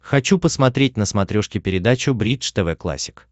хочу посмотреть на смотрешке передачу бридж тв классик